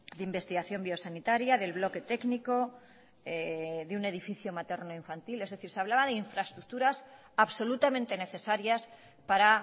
de investigación biosanitaria del bloque técnico de un edificio materno infantil es decir se hablaba de infraestructuras absolutamente necesarias para